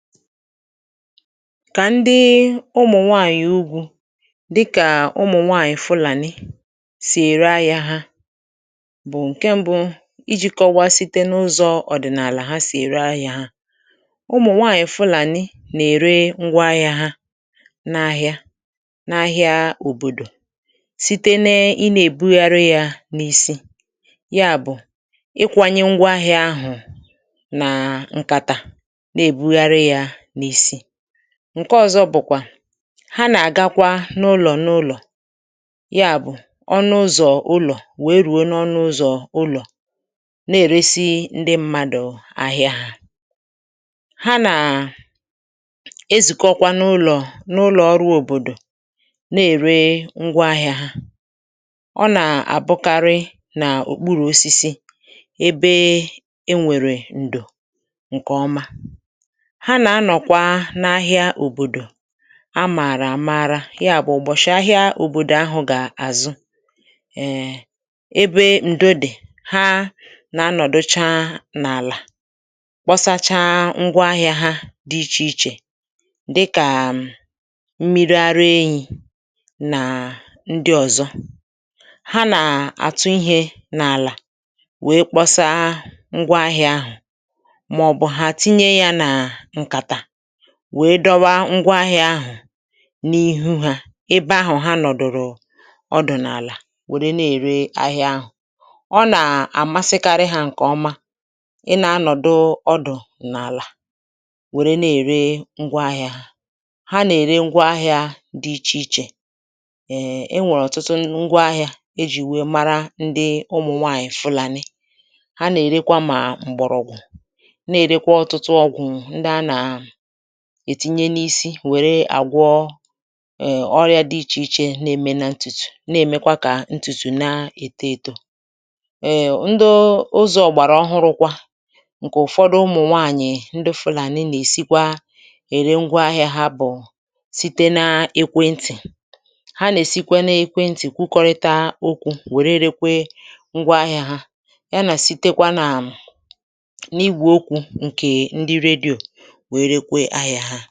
kà ndị ụmụ̀ nwaànyị̀ ugwū, dịkà ụmụ̀ nwànyị̀ Fulàni, sì ère ahịā ha, bụ̀ ǹkẹ mbụ ijī kọwa site n’ụzọ̄ ọ̀dị̀nàlà ha sì ère ahịā ha. ụmụ̀ nwànyị̀ Fulani nà ère ngwa ahịā ha n’ahịa, n’ahịa òbòdò, site n aị nà èbugharị ya n’isi. ya bụ̀ ịkwānye ngwa ahịā ahụ̀ nà ǹkàtà, nà èbughari ya n’isi. ǹkẹ ọzọ bụ̀kwà, ha nà èbugharị yā nà àgakwa n’ụlọ̀ n’ụlọ. yà bụ̀, ọnụ ụzọ ụlọ̀ wèe rùe n’ọnụ ụzọ ụlọ̀, nà èresi ndị mmadù ahịā ha. ha nà ezìkọkwanụ ụlọ̀, n’ụlọ̀ ọrụ̄ òbòdò, nà ère ngwa ahịā ha. ọ nà àbụkarị nà òkpurù osisi, ebe e nwèrè ǹdò ǹkẹ̀ ọma. ha nà anọ̀kwa n’ahịa òbòdò a màrà àmara. yà bụ̀ ụ̀bọ̀shị̀ ahịa òbòdò ahụ̄ gà àzụ ẹẹ̄, ebe ǹdo dị̀, ha nà anọ̀docha n’àlà, kpọsacha ngwọ ahịā ha dị ichè ichè, dịkà mmiri ara ehī nà ndị ọ̀zọ. ha nà àtụ ihe nà àlà, wèe kpọsa ngwa ahịā ahụ̀, mà ọ̀ bụ̀ hà tinye ya nà ǹkàtà, wèe dọwa ngwa ahịā ahụ̀ n’ihu ha, ebe ahụ̀ ha nọ̀dụ̀rụ̀ ọdụ̀ n’àlà wère nà ère ahịā. ọ nà àmasịkarị hā ǹkè ọma, ịnā anòdụ ọdụ̀ n’àlà, wẹ̀re nà ère ngwọ ahịā. ha nà ère ngwa ahịā dị ichè ichè, ẹ̀ẹ̀, ẹ nwẹ̀rẹ̀ ọ̀tụtụ ngwa ahịā e jì wẹ mara ụmụ̀ nwanyị̀ ndị Fulàni. ha nà èrekwa mà m̀gbọ̀rọ̀gwụ̀, nà èrekwa ọ̀tụtụ ọgwụ̀ ndị a nà ètinye n’isi, wère àgwọ ọyā dị ichè iche na eme na ntùtù, nà èmekwa kà ntùtù na èto eto. ẹ̀ẹ̀, ndụ ụzọ̄ ọ̀gbàrà ọhụrụkwa, ǹkẹ̀ ụ̀fọdụ ụmụ̀ nwànyị ndị Fulàni nà èsikwa ẹ̀rẹ ngwọ ahịā bụ̀ site na ekwe ntì. ha nà èsikwa n’ẹkwẹ ntị̀ kwukọrịta okwū, wère rekwe ngwọ ahịā, ya nà sitekwa nà na igwè okwū, ǹkè ndị radio, wèe rekwe ahịā ha.